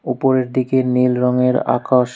উপরের দিকে নীল রঙের আকাশ।